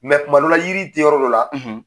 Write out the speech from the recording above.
kumadɔ la yiri tɛ yɔrɔ dɔ la